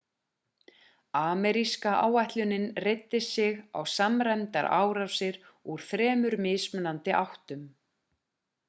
ameríska áætlunin reiddi sig á samræmdar árásir úr þremur mismunandi áttum